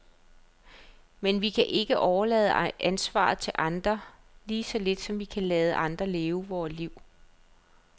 Men vi kan ikke overlade ansvaret til andre, lige så lidt som vi kan lade andre leve vort liv.